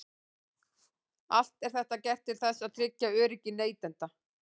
Allt er þetta gert til þess að tryggja öryggi neytenda.